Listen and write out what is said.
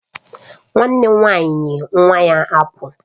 Nwannem nwanyi nye nwa ya apụl